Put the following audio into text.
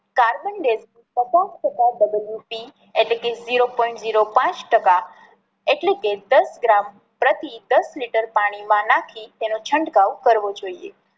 carbondize પચાસ ટકા double UC એટલે કે ઝીરો પોઈન્ટ પાંચ ટકા એટલે કે દસ ગ્રામ પ્રતિ દસ લિટર પાણી માં નાખી તેનો છંટકાવ કરવો જોઈએ.